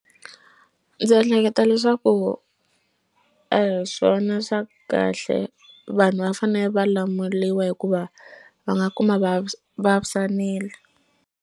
Ndzi ehleketa leswaku a hi swona swa kahle vanhu va fane va lamuliwa hikuva va nga kuma va vavisanile.